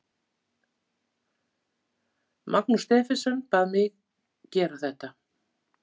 Magnús Stephensen bað mig gera þetta.